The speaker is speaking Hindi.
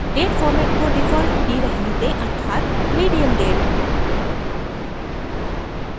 date format को default ही रहने दें अर्थात medium date